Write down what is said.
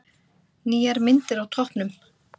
Nýjar myndir á toppnum